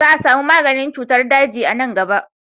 Za a samu maganin cutar daji a nan gaba.